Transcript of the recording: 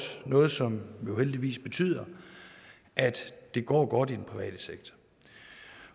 noget som jo heldigvis betyder at det går godt i den private sektor